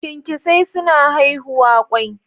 Kyankyasai suna haihuwa kwai.